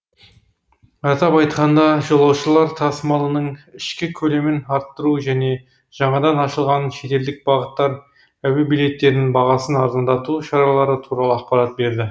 атап айтқанда жолаушылар тасымалының ішкі көлемін арттыру және жаңадан ашылған шетелдік бағыттар әуе билеттерінің бағасын арзандату шаралары туралы ақпарат берді